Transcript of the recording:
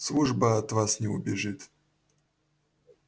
служба от вас не убежит